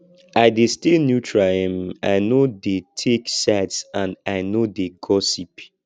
i dey stay neutral um i no dey take sides and i no dey gossip